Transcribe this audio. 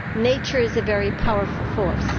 Nature is a very powerful force.